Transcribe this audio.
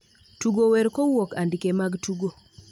Tugo wer kowuok andike mag tugo